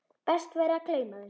Best væri að gleyma þeim.